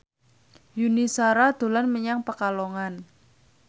Yuni Shara dolan menyang Pekalongan